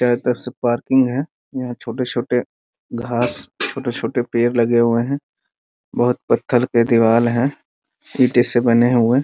चारों तरफ से पार्किंग है यहाँ छोटे-छोटे घास छोटे-छोटे पेड़ लगे हुए हैं बहुत पत्थर के दिवार हैं ईटें से बने हुए ।